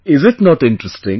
Is it not interesting